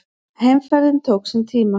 Heimferðin tók sinn tíma.